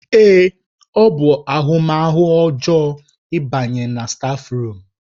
Èé! ọ bụ ahụmahụ ọjọọ ịbanye na stáfruum.